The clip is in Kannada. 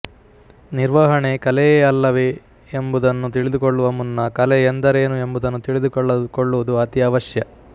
ನಿರ್ವಹಣೆ ಕಲೆಯೇ ಅಲ್ಲವೆ ಎಂಬುದನ್ನು ತಿಳಿದುಕೊಳ್ಳುವ ಮುನ್ನ ಕಲೆ ಎಂದರೇನು ಎಂಬುದನ್ನು ತಿಳಿದುಕೊಳ್ಳುವುದು ಅತಿ ಅವಶ್ಯ